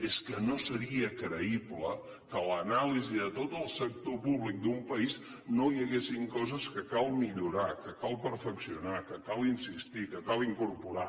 és que no seria creïble que a l’anàlisi de tot el sector públic d’un país no hi haguessin coses que cal millorar que cal perfeccionar en què cal insistir que cal incorporar